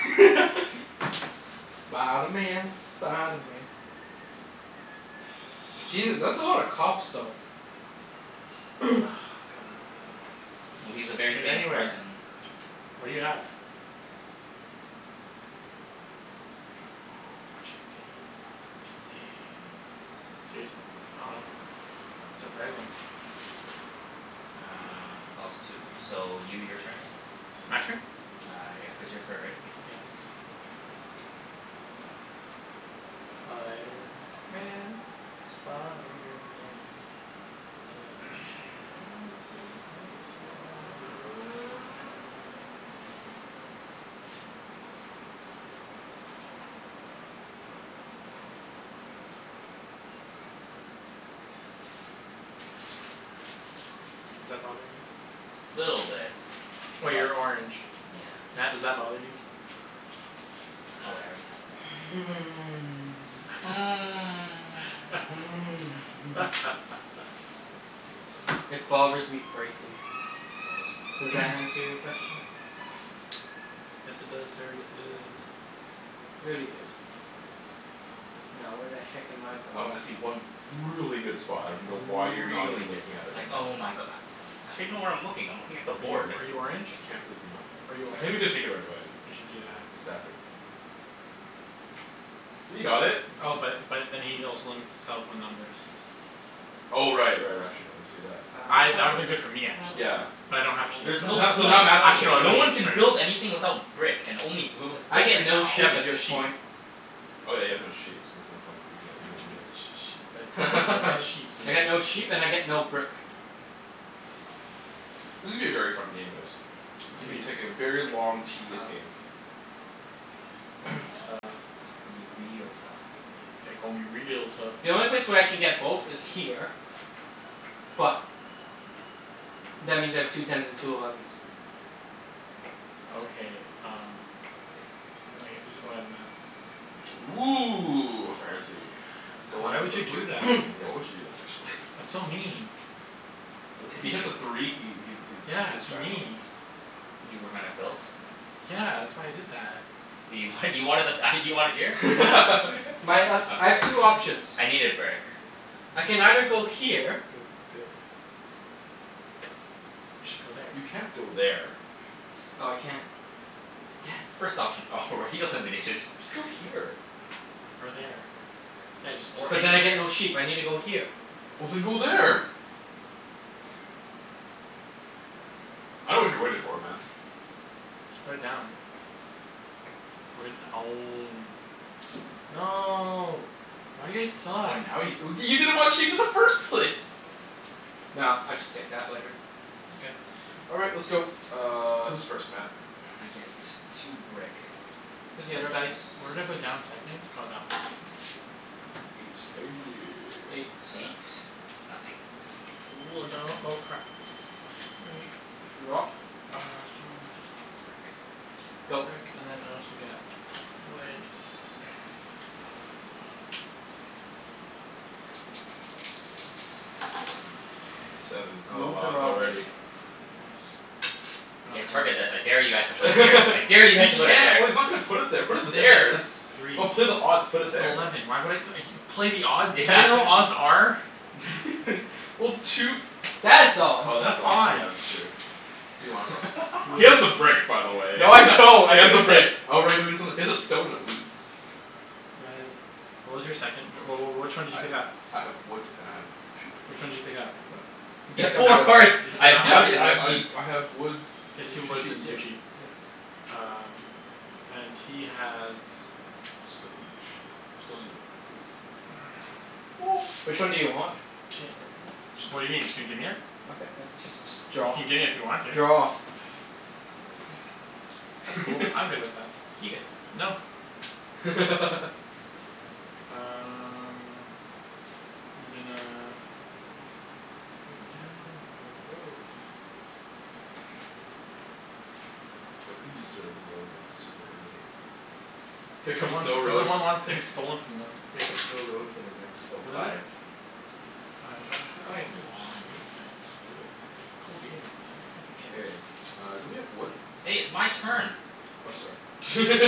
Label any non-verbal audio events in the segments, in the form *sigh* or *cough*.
*laughs* Spider Man, Spider Man. Jesus, that's a lot of cops though. *noise* God, *noise* I don't know. Well, he's a very Put it famous anywhere. person. What do you have? *noise* Chancey, Chancey. Serious? Oh wow. Surprising. Uh clause two. So you, your turn again. My turn? Uh yeah, cuz you're third right? Yes. Spiderman, Spiderman. *noise* Does whatever a spider can. Does that bother you? Little bit. Oh, But, you're orange. yeah. Matt, does that bother you? Oh wait, I already have a doubt. *noise* *noise* *noise* *laughs* It bothers me greatly. Bothers him Does greatly. that answer *noise* your question? Yes it does sir, yes it does. Very good. Now where the heck am I going? Um I see one really good spot, I dunno why you're not Really even good. looking at it Like right now. oh my go- *noise* How do you know where I'm looking? I'm looking at the Are you board. are you orange? I can't believe you're not Are you *noise* I orange? can't believe you didn't take it right away. *noise* You should do that. Exactly. See, you got it. Oh but but then he also limits himself on numbers. Oh right right, actually no I didn't see that. *inaudible* I, that would've been good for me actually, Yeah but yeah. I don't have sheep There's so no Now, so point. now Matt's gonna Actually take no, it No would've it. one *noise* been can build useless for me. anything without brick and only blue has I brick get right no now. Yeah, sheep but at you have this sheep. point. Oh yeah, you have no sheep, so there's no point for you But y- getting but y- that Oh. y- either. but you'll get *laughs* sheep, so you I get can do no sheep that. and I get no brick. This is gonna be a very fun game guys. It's gonna be It's taking a very gonna long be tedious game. tough. It's gonna be *noise* tough. Gonna be real tough. Yeah, gon' be real tough. The only place where I can get both is here. But that means I have two tens and two elevens. Okay um Oh wait, who's, oh yeah Matt. Woo, fancy. Goin' Why for would the you brick do that? *noise* *noise* Why would you do that actually? That's so mean. Uh if To he hits you? a three he he's he Yeah, hits to jackpot. me. You were gonna build? Yeah, that's why I did that. You wanted, you wanted the th- ah you wanted here? Yeah. *laughs* My um, *laughs* I'm I have sorry. two options. I needed brick. I can either go here. *noise* You should go there. You can't go there. Oh I can't. Damn. First option already eliminated. Just go here. Or there. Yeah, just Or But just then I anywhere. get no sheep. I need to go here. Well then go there. I dunno what you're waiting for man. *laughs* *noise* Just put it down. Put it down. No. Why do you guys Oh suck? now you w- you didn't want sheep in the first place. No, I'll just take that later. Okay. All right, let's go, uh who's first Matt? I get two brick. Here's the other dice. *noise* Where did I put down the second? Oh that one. Eight. Eight *noise* Nothing. Wood. Sto- oh crap. *noise* Drop. Uh stone, wheat, brick. Go. Brick and then I also get wood *noise* Seven. Oh Move the wow, it's robber. already Nice. Yeah, target I this. I dare you guys to put it *laughs* here. I dare you He guys to put it can't, there. well he's not gonna put it there, put That it doesn't make any there. That's sense, it's three. just, put odd, put it That's there. eleven, why would I *noise* play the odds? You Yeah, know what what are you odds are? *laughs* Well two That's odds. Oh That's that's odds, yeah that's odds. true. Who do you want it from? *laughs* He has the Br- brick by the way No *laughs* he I don't, I has the used it. brick. Oh right no you got something, he has a stone and a wheat. Red, what was your second? Wh- wh- which one did you pick up? I I have wood and I have sheep. Which one did you pick up? What? He You You picked have picked up up four that wood. one, cards. you picked "I up have that Yeah wood yeah and one? I I have I sheep." I have wood He has and two two woods and sheeps, yeah two sheep. yeah. Um and he has Stone and sheep. Stone and *noise* a wheat. *noise* *noise* Which one do you want? Ca- what do you mean? Just gonna gimme it? Okay *noise* just just You draw. can gimme if you want to. Draw. That's cool, I'm good with *laughs* that. You good? No. *laughs* Um I'm gonna put down a road. Everybody used their road like super early. Here Cuz no comes one, no cuz no road one wants f- things stolen from them. *noise* here comes no road for the next oh What is it? five. Five. Five uh oh I Come do, on. sweet, cool, goo- cool beans man, cool K, beans. uh somebody have wood? Hey, it's my turn. Oh sorry, *laughs*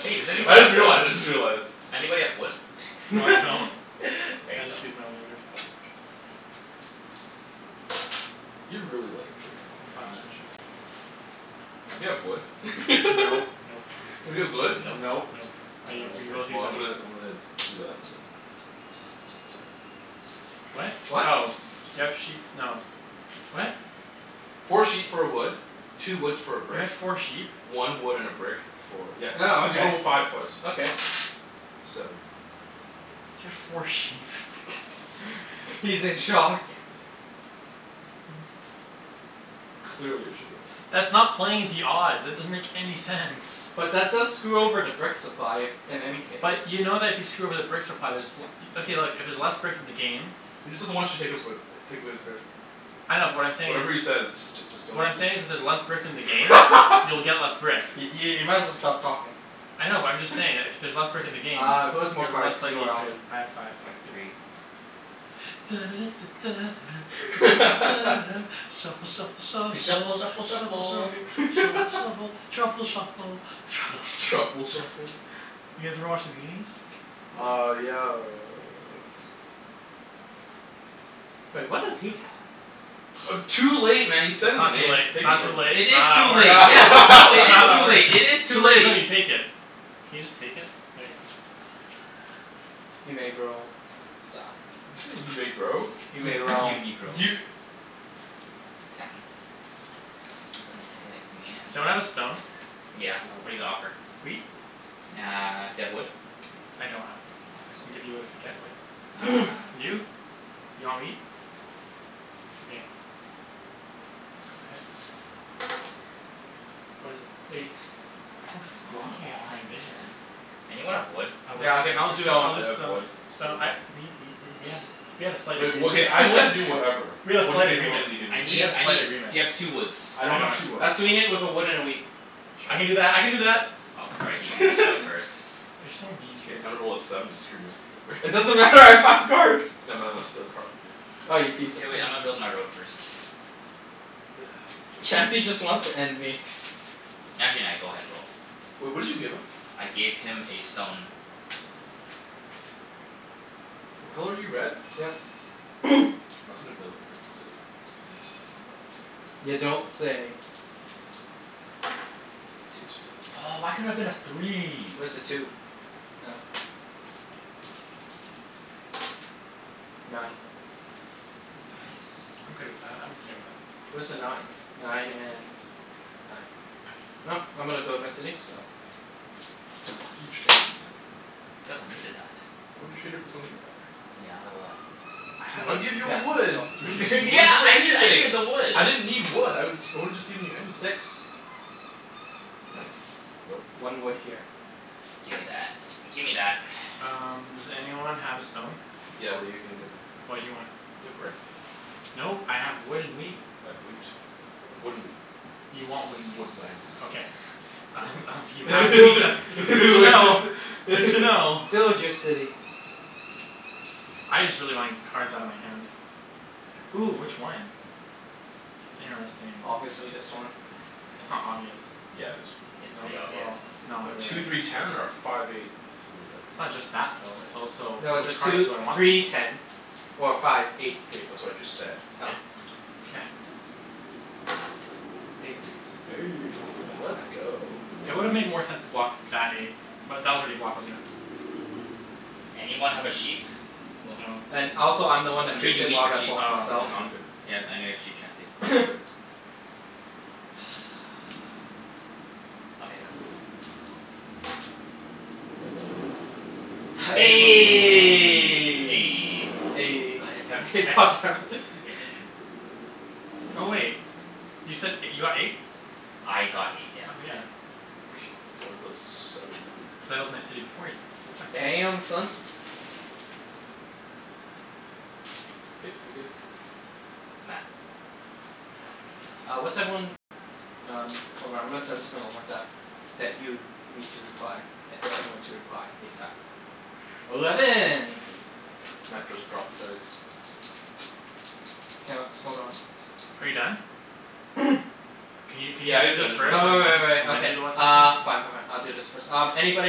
Hey does anyone I just have wood? realized, I just realized. Anybody have wood? No I don't, *laughs* *laughs* There I you go. just used my only wood. You're really like drinkin' all that, Can you aren't Five. you? Anybody have wood? *laughs* Nope. Nope. Nobody has wood? Nope. Nope. Nope. I u- Oh we okay. both Well used our I'm wood. gonna I'm gonna do that and uh *inaudible* What? do do that. What? Oh, do you have sheep, no, what? Four sheep for a wood, two woods for a You brick, had four sheep? one wood and a brick for, yeah, Oh cuz you okay, rolled a five twice. okay. Seven. You had four sheep *laughs* *laughs* He's in shock. Clearly, I should go there. That's not playing the odds. It doesn't make any sense. But that does screw over the brick supply, if, in any case. But you know that if you screw over the brick supply there's w- okay look, if there's less brick in the game He just doesn't want you to take his way b- take away his brick. I know but what I'm saying is Whatever he says just j- just don't What I'm just saying is if there's j- less brick in the game you'll *laughs* get less brick. I- i- you might as well stop talking. I know but I'm just saying that if y- there's less brick in the game Uh who has more you're cards, less you likely or to Alvin? have I five. have three. *noise* shuffle shuffle *laughs* shuffle shuffle F- shuffle shuffle shuffle shuffle shuffle. shuffle *laughs* truffle shuffle truffle Truffle shuffle. Truffle shuffle? *laughs* shuffle? You guys ever watch The Goonies? No. Uh yeah uh Wait, what does he have? Uh too late man you said That's his not too name, late, it's pick it not too from him. late, It it's not is how that too late. works, Yeah, no, it it's not is how *laughs* that too works. late, it is too Too late is when late. you take it. Can you just take it? There you go. You may bro, sa- You say you may grow? You may *laughs* roll. You negro. You Ten. What the heck Someone man? have a stone? Yeah, No. what're you gonna offer? Wheat? Uh do you have wood? I don't have wood. Oh, I can sorry. give you wood if I get wood. *noise* Uh no. You? You want wheat? Okay. Go ahead sir. What is it? Eight. Eight. Everyone keeps Come blocking it from on my vision. man. Anyone have wood? I would, Yeah, I'll give it I'll for do, stone. I'll I just have uh, wood, stone wheat. I we we w- w- we had a slight Wait, well agreement okay, I'm willing to do *laughs* whatever. We had a What are you slight gonna be agreement, willing to give me? I we need, had a I slight need, agreement. do you have two woods? I I don't don't have have two two wood. woods. I'll sweeten it with a wood and a wheat. I can do Sure. that, I can do that. Oh sorry, he he beat you out first. *laughs* You're so mean. K, time to roll a seven and screw Matthew It over. *laughs* doesn't matter, I have five cards. No Matt, I wanna steal a card from you. Ah, you piece *noise* K of wait, crap. I'ma build my road first. *noise* K. Chancey just wants to end me. Actually nah, go ahead and roll. Wait, what did you give him? I gave him a stone. What color are you, red? Yep. *noise* Matt's gonna build a frickin' city. *noise* Can I go in You here? No. don't say. Two twos. Two. Two. Oh why couldn't it have been a three? Where's the two? Oh. Nine. Nice. I'm good with that, I'm okay with that. Where's the nines? Nine and nine. *noise* I'm gonna build my city, so Why did you trade, man? Cuz I needed that. I would've traded for something better. Yeah, like what? Two *noise* I'd woods? give you Yeah, a wood. go. *inaudible* two What did *laughs* you need, you Yeah woods? could get I needed, I needed anything. the wood. I didn't need wood, I would I woulda just given you anything. Six. Nope, Nice. nope. One wood here. Gimme that, gimme that Um *noise* does anyone have a stone? Yeah what are you gonna give me? What do you want? Do you have brick? Nope, I have wood and wheat. I have wheat. Wood and wheat. You want wood and Wood wheat. *inaudible* Okay. please. *laughs* I was, I was, you *laughs* What have wheat, *noise* that's that's did good you to know. wanna Good say to know. *laughs* Build your city. I just really wanna get cards outta my hand. Ooh, which one? That's interesting. Obviously this one. That's not obvious. Yeah it is. It's No, pretty obvious. well, it's not *noise* Two really. three ten or a five eight three, It's not okay just that though, it's also No, it's a which cards two do I want the three most? ten or a five eight three. That's what I just said. Oh. Yeah. Eight. Eight Aw come *noise* on. let's go. It would've made more sense to block that eight. But that was already blocked, wasn't it? Anyone have a sheep? Well No. And also I'm the No. one I'll that trade moved you it, wheat why for did I sheep. block Oh, myself? No, I'ma, I'm good. okay. yeah I know you have sheep Chancey. I'm good. *noise* *noise* Okay, go. Eleven. *noise* *laughs* God *noise* God damn it hex. *laughs* damn it *laughs* Oh wait, you said *noise* you got eight? I got eight, yeah. Oh yeah. K I wanna build settlement. Settled my city before you, Matt, so it's fine. Damn, son. K, we good. Matt. Uh what's everyone, um hold on I'm gonna send something on WhatsApp. That you need to reply. That d- everyone to reply, ASAP. Eleven. *noise* Matt just dropped the dice. K let's, hold on. Are you done? *noise* Can you can you Yeah he do is this done, Uh just first uh re-roll. and wai- wai- then wai- and then okay. do the WhatsApp Uh. thing? Fine fine *laughs* fine, I'll do this first. Um Anybody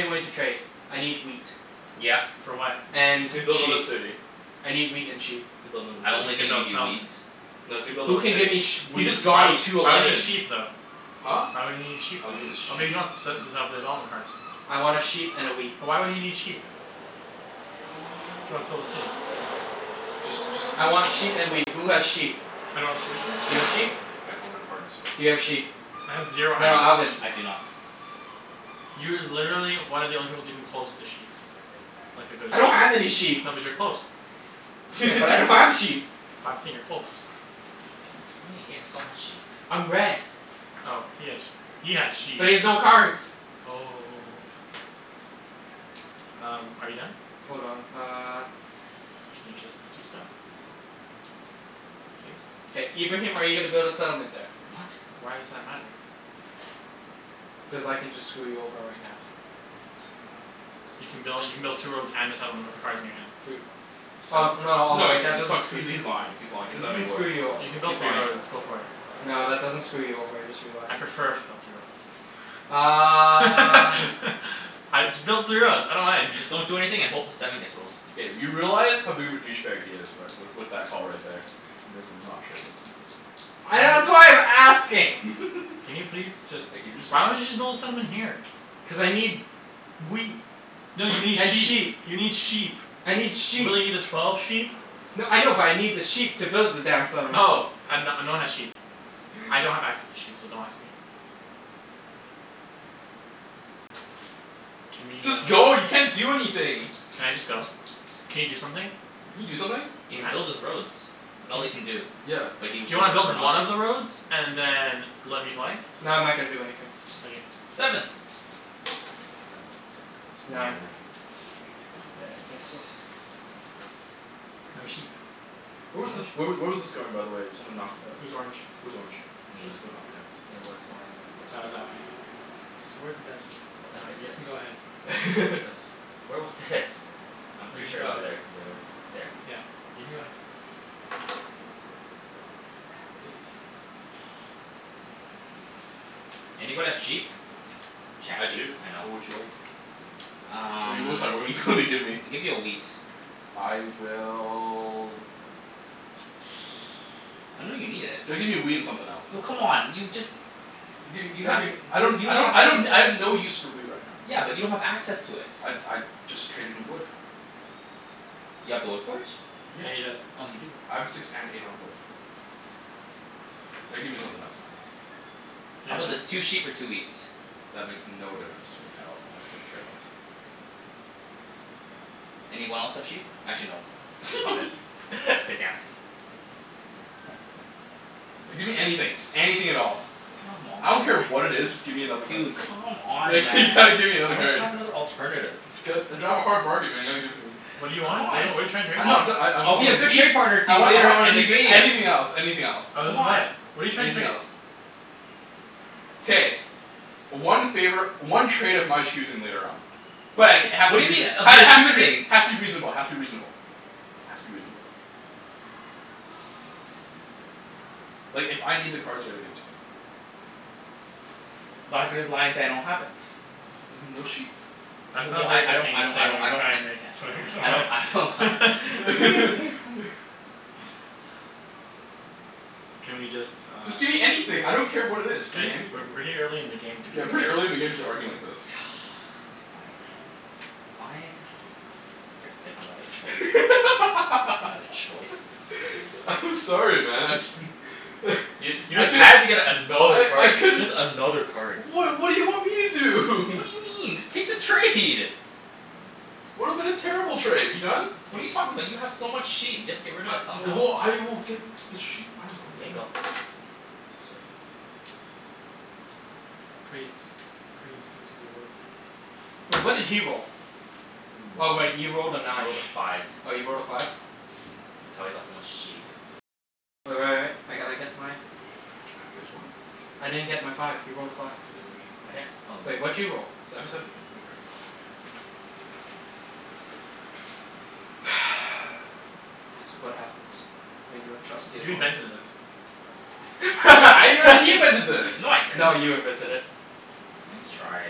willing to trade? I need wheat. Yeah. For what? And And he's gonna build another sheep. city. I need wheat and sheep. He's gonna build I'm another No, only he's city. gonna gonna build give a you wheat. settlement. No, he's gonna build Who another can give me city. sh- He wheat just Why would, got sheep? two why would he need elevens. sheep though? Huh? Why would he need sheep Oh then? he need a Oh maybe sheep. he wants *inaudible* development cards. I wanna sheep and a wheat. But why would he need sheep? If he wants to build a city? Just just I want *noise* sheet and wheat. Who has sheep? I don't have sheep. You have sheep? I don't have any cards. Do you have sheep? I have zero No no, No. access to Alvin. I do sheep. not. You're literally one of the only people that's even close to sheep. Like a good I don't have any sheep. sheep. No, but you're close. Yeah, but I don't *laughs* have sheep. But I'm saying you're close *laughs* What do you mean? He has so much sheep. I'm red. Oh he has sheep. He has sheep. But he has no cards. Oh Um, are you done? Hold on, uh. Can you just do stuff? Please? K, Ibrahim are you gonna build a settlement there? What? Why does that matter? Cuz I can just screw you over right now. You can build, you can build two roads and a settlement with the cards in your hand. Three roads. Oh So? no, oh No he wait, can't, that he's fuck- doesn't , screw he's he's lying, he's lying, he That doesn't have doesn't any wood. screw you o- You can He's build three lying. roads. Go for it. No, that doesn't screw you over, I just realized. I'd prefer if you built three Uh roads. *laughs* *noise* I, just build the three roads, I don't mind. Just don't do *laughs* anything a hope a seven gets rolled. K, you realize how big of a douche bag he is right, with with that call right there. You may as well not trade with him. I, that's *noise* why I'm asking. Can *laughs* you please just, Like can you just hurry why don't you up? just build a settlement here? Cuz I need wheat No you *noise* need and sheep sheep. You need sheep. I need sheep. Will you need a twelve sheep? No, I know but I need the sheep to build the damn settlement. Oh. I have, no no one has sheep. I don't have access to sheep so don't ask me. Can we Just uh go, you can't do anything. Can I just go? Can you do something? Can you do something? He can build Matt? his roads. That's all he *noise* can do. B- Yeah. but he Do would you wanna build prefer one not to. of the roads and then let me play? No, I'm not gonna do anything. Okay. Seven. Sand bun some of the cards. Nine. Nine. Nine. Okay, *noise* I think so. *noise* No sheep. *inaudible* Where was No this, where w- sheep. where was this going by the way? Someone knocked it up. Who's orange? Who's orange? Me. Was it going up or down? It was going this way. That was that way, yeah. Towards the desert. What the heck Um, is you this? can go Where ahead. wa- where was this? *laughs* Where was this? I'm You pretty can sure go it Oh was it's ahead. there. like there. There? Yeah. You can go ahead. Hey. Fuck. Anybody have sheep? I Chancey. do, I know. what would you like? What do Um you, sorry what do you wanna give me? I'll give you a wheat. I will I know you need it. *noise* Gotta give me a wheat and something else Oh man. come on. You just Dude You have w- okay, I y- don't you I don't don't have I access don't, I have no use for wheat right now. Yeah, but you don't have access to it. I'd I'd just trade in wood. You have the wood port? Yeah. Yeah, he does. Oh you do. I have a six and an eight on a wood. Gotta give me something else man. Yeah How 'bout man. this? Two sheep for two wheat. That makes no difference to me at all. I couldn't care less. Anyone else have sheep? Actually no, five. *laughs* *laughs* Damn it. No, give me anything, *noise* just anything at all. Come I on don't man. care what it is, just give me another card. Dude, come on Like *laughs* man, you gotta give me I another don't card. have another alternative. *noise* I drive a hard bargain man you gotta give it to me. What do you want? What're you, C'mon. what are you tryin' to trade? No I'm, I'm try- I I I I'll be want a a good wheat. trade partner to I you want I later want on in the anything game. anything else anything else. Other Come than on. that, what're you trying to Anything trade? else. K. *noise* One favor, one trade of my choosing later on. But it k- it has What to be do you mean reaso- of ha- your has to be rea- choosing? has to be reasonable has to be reasonable. Has to be reasonable. Like if I need the cards you gotta give it to me. But I could just lie and say I don't have it. Well then no sheep. That's not a Well, I very I good don't thing I to don't say when I you're don't trying to *noise* get something from I don't I don't ha- someone *laughs* *laughs* K, okay fine. *laughs* *noise* Can we just uh Just give me anything, I don't care what it is, just Guys, gimme we're anything. way early in the game to be Yeah, doing this pretty early in the game to *laughs* be arguing like this. *noise* Fine. fine. Frickin' didn't have another choice. Another choice. *laughs* I'm sorry man, I just *laughs* You you I just could had to get another I I card. couldn't Just another card. What what do you want me to do? What do *laughs* you mean? Just take the trade. Would've been a terrible trade. Are you done? What are you talking about? You have so much sheep. You have to get rid of it somehow. Well, I will get the sheep, I dunno K, man. go. Seven. Praise. Praise be to the lord. Wait, what did he roll? Oh wait, he You're a moron. rolled a I nine. rolled a five. Oh you rolled a five? That's how he got so much sheep. Wait what? I didn't get my five. He rolled a five. Okay then I I'm right here. didn't oh Wait, what did you roll? *inaudible* A Seven? seven, here, give me a card. *noise* *noise* This what happens when you don't trust the You opponent. invented this. What, I *laughs* invented, he invented this. No I didn't. No, you invented it. Nice try.